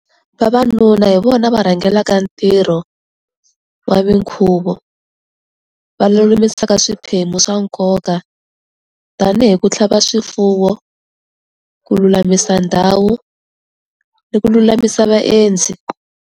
Vavanuna hi vona va rhangelaka ntirho wa minkhuvo, va lulamisaka swiphemu swa nkoka tanihi ku tlhava swifuwo, ku lulamisa ndhawu ni ku lulamisa vaendzi.